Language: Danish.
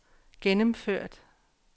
gennemført